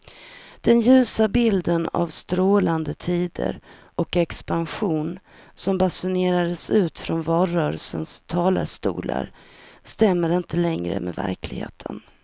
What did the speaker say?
Den ljusa bilden av strålande tider och expansion som basunerades ut från valrörelsens talarstolar stämmer inte längre med verkligheten.